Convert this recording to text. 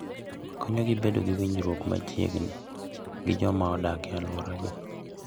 Konyogi bedo gi winjruok machiegni gi joma odak e alworagi.